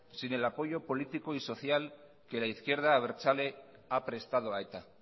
sin el apoyo político y social que la izquierda abertzale ha prestado a eta